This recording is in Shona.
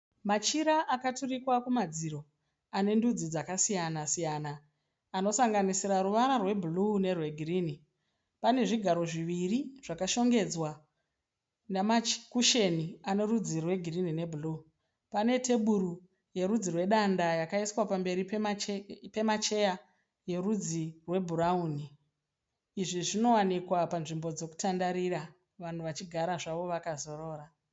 Machira akaturikwa kumadziro anendudzi dzakasiyana siyana anosanganisira ruvara rwebhuruu ne rwegirinhi. Panezvigaro zviviri zvakashongedzwa nama kusheni anerudzi rwe girinhi nebhuruu. Pane teburu yerudzi rwe danda yakaiswa pamberi pema cheya e rudzi rwe bhurauni izvi zvinowanikwa panzvimbo dzekutandarira vanhu vachigara zvavo vakazorora .